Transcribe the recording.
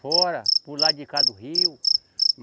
Fora, para o lado de cá do rio.